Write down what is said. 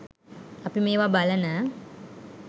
අපි මේවා බලන